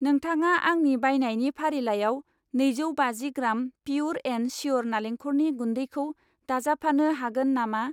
नोंथाङा आंनि बायनायनि फारिलाइयाव नैजौ बाजि ग्राम पियुर एन्ड शियुर नालेंखरनि गुन्दैखौ दाजाबफानो हागोन नामा?